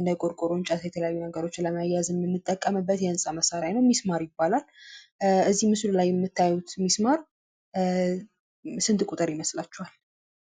እና የቆርቆሮ እንጨቶችን የተለያዩ ነገሮችን ለማያያዝ የምንጠቀምበት የህንፃ መሳሪያ አይነት ሚስማር ይባላል። እዚህ ምስሉ ላይ የምታዩት ሚስማር ስንት ቁጥር ይመስላችኋል?